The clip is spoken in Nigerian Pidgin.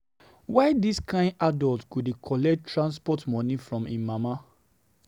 Why dis kain adult go dey collect transport moni from im mama?